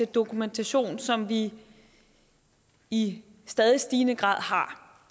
dokumentation som vi i stadig stigende grad har